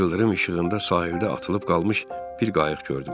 İldırım işığında sahildə atılıb qalmış bir qayıq gördüm.